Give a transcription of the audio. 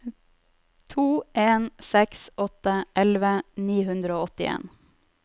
to en seks åtte elleve ni hundre og åttien